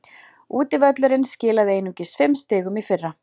Útivöllurinn skilaði einungis fimm stigum í fyrra.